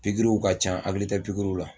Pikiriw ka ca n hakili tɛ pikiriw la